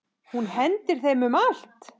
Hún hendir þeim um allt.